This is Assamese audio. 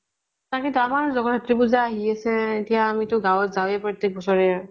তাকেটো আমাৰো জগৎ ৰাত্ৰী পুজা আহি আছে। এতিয়া আমি তো গাঁৱ্ত যাওঁয়ে প্ৰত্য়েক বছৰে।